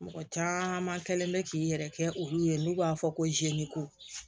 Mɔgɔ caman kɛlen bɛ k'i yɛrɛ kɛ olu ye n'u b'a fɔ ko zeko